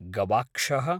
गवाक्षः